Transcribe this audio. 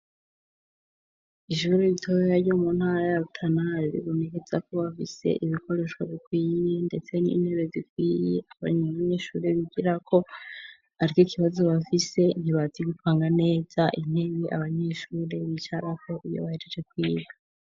Ijuru bitoreya ryo mu ntara ya butana ribonekezako bafise ibikoreshwa bikwiye, ndetse n'intebe zikwiye abanyabanyeshuri bigira ko atiko ikibazo bafise ntibazigikwanga neza intewe abanyeshuri bicaraho iyo bayejeje kwiga.